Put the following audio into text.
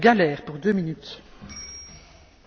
Frau Präsidentin, liebe Kolleginnen und Kollegen!